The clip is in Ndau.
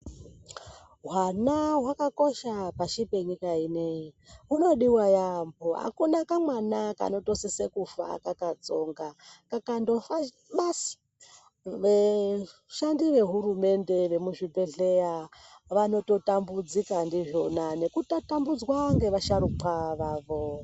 Hwana hwakakosha pashi penyika ineyi hunodiwa yaambo akuna kamwana kanotosisa kufa kakatsonga kakandofa basi vashandi vehurumende vemuzvibhedhlera vanototambudzika ndizvona nekutatambudzwa ngevasharukwa vavo.